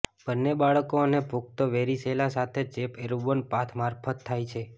બંને બાળકો અને પુખ્ત વેરીસેલા સાથે ચેપ એરબોર્ન પાથ મારફત થાય છે